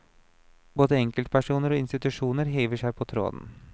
Både enkeltpersoner og institusjoner hiver seg på tråden.